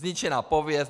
Zničená pověst.